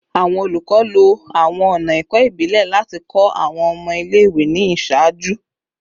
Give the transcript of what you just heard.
Awọn olukọ, lo awọn ọna ẹkọ ibile lati kọ awọn ọmọ ile-iwe ni iṣaaju